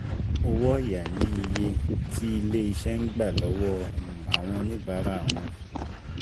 Owó ọ̀ya ni iye tí ilé iṣẹ́ ń gbà lọ́wọ́ um àwọn oníbàárà wọn